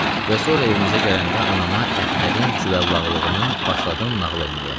Və sonra evimizə gələndə anama Əhmədin cüvəllaqlığını başladım nağıl eləməyə.